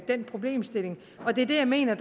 den problemstilling det er det jeg mener